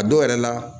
A dɔw yɛrɛ la